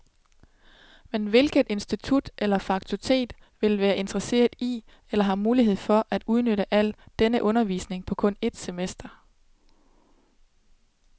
Men hvilket institut eller fakultet vil være interesseret i, eller har mulighed for, at udnytte al denne undervisning på kun et semester.